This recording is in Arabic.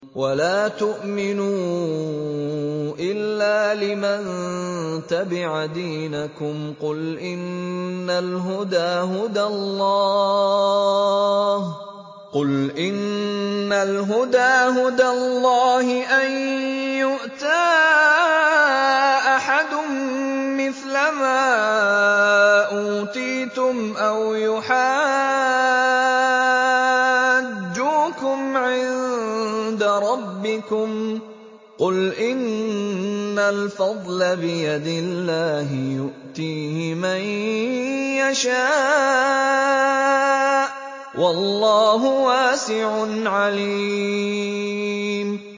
وَلَا تُؤْمِنُوا إِلَّا لِمَن تَبِعَ دِينَكُمْ قُلْ إِنَّ الْهُدَىٰ هُدَى اللَّهِ أَن يُؤْتَىٰ أَحَدٌ مِّثْلَ مَا أُوتِيتُمْ أَوْ يُحَاجُّوكُمْ عِندَ رَبِّكُمْ ۗ قُلْ إِنَّ الْفَضْلَ بِيَدِ اللَّهِ يُؤْتِيهِ مَن يَشَاءُ ۗ وَاللَّهُ وَاسِعٌ عَلِيمٌ